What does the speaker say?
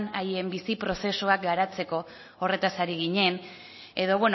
haien bizi prozesuak garatzeko horretaz ari ginen edo